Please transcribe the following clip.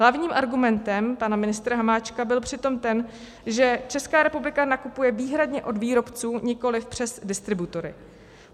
Hlavním argumentem pana ministra Hamáčka byl přitom ten, že Česká republika nakupuje výhradně od výrobců, nikoliv přes distributory.